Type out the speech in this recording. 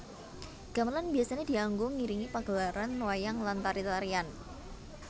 Gamelan biyasané dianggo ngiringi pagelaran wayang lan tari tarian